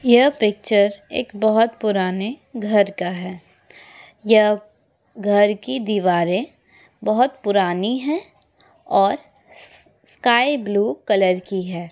यह पिक्चर एक बहोत पुराने घर का है यह घर की दीवारें बहोत पुरानी हैं और स स्काइ ब्लू कलर की है।